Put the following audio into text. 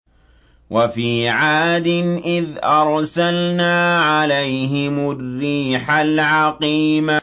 وَفِي عَادٍ إِذْ أَرْسَلْنَا عَلَيْهِمُ الرِّيحَ الْعَقِيمَ